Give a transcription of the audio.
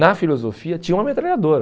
Na filosofia tinha uma metralhadora.